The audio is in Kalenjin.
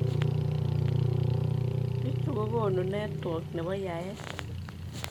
Biichu kokonu network nebo yaeet